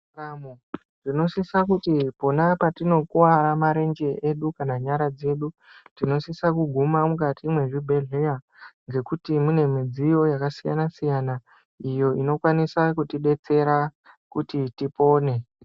Tinosisa kuti pona patinokuwara marenje edu kana nyara dzedu tinosisa kuguma mukati mwezvibhedhleya ngekuti mune midziyo yakasiyanasiya iyo inokwanisa kutibetsera kuti tipone.